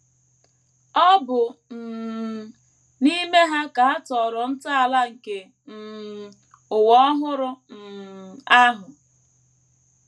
Ọ bụ um n’ime ha ka a tọrọ ntọala nke um “ ụwa ọhụrụ um ” ahụ.